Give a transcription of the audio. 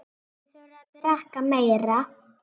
Þið þurfið að drekka meira.